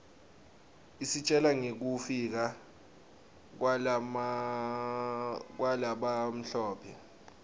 isitjela ngekufika kwalabamhlope